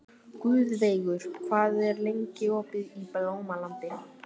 Guðveigur, hvað er lengi opið í Blómalandi?